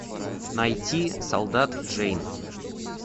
найти солдат джейн